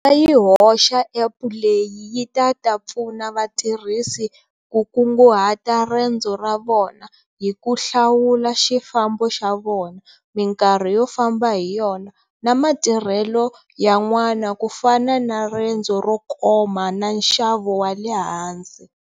Ta yi hoxa App leyi yi ta ta pfuna vatirhisi ku kungahati rendzo ra vona hi ku hlawula xifambo xa vona, mikarhi yo famba hi yona na matirhelo yan'wana ku fana na rendzo ro koma na nxavo wa le hansi.